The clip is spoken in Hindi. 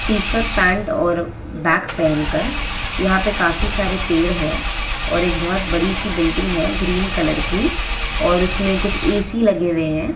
टी-शर्ट पैंट और बैग पहनकर यहां पे काफी सारे पेड़ है। और एक बहुत बड़ी सी बिल्डिंग है ग्रीन कलर की। और उसमें कुछ ऐ.सी. लगे हुए है।